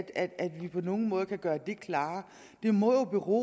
at at vi på nogen måde kan gøre det klarere det må jo bero